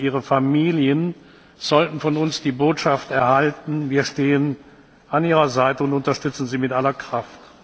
Und ihre Familien sollten von uns die Botschaft erhalten Wir stehen an Ihrer Seite und unterstützen Sie mit aller Kraft.